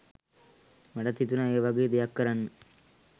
මටත් හිතුනා ඒවගේ දෙයක් කරන්න